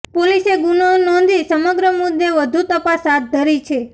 પોલીસે ગુનો નોંધીસમગ્ર મુદ્દે વધુ તપાસ હાથ ધરી છે